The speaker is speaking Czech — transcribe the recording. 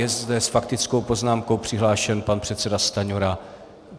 Je zde s faktickou poznámkou přihlášen pan předseda Stanjura.